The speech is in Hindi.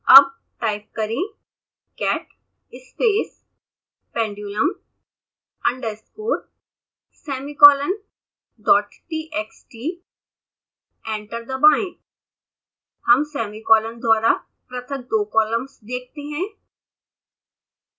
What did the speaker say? अतः टाइप करें cat space pendulumunderscoresemicolondottxt एंटर दबाएंहम सेमीकॉलन द्वारा पृथक दो कॉलम्स देखते हैं